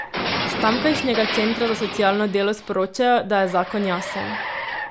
S tamkajšnjega centra za socialno delo sporočajo, da je zakon jasen.